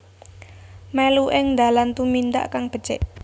Mèlu ing dalan tumindak kang becik